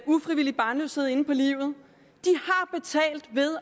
ufrivillig barnløshed inde på livet